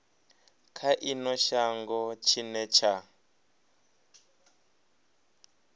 kha ino shango tshine tsha